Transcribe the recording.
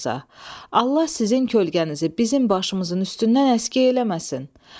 Allah sizin kölgənizi bizim başımızın üstündən əskik eləməsin.